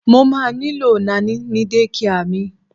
Mo má nílò Naní ní dékià mi.